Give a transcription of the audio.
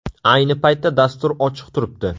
Ayni paytda dastur ochiq turibdi.